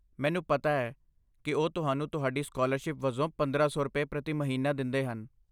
ਮੈਨੂੰ ਪਤਾ ਹੈ ਕੀ ਉਹ ਤੁਹਾਨੂੰ ਤੁਹਾਡੀ ਸਕਾਲਰਸ਼ਿਪ ਵਜੋਂ ਪੰਦਰਾਂ ਸੌ ਰੁਪਏ, ਪ੍ਰਤੀ ਮਹੀਨਾ ਦਿੰਦੇਹਨ